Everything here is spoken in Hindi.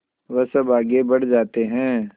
वह सब आगे बढ़ जाते हैं